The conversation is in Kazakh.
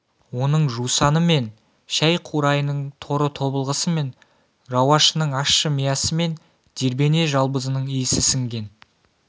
оның жусаны мен шәй-қурайының торы тобылғысы мен рауашының ащы миясы мен дермене-жалбызының исі сіңген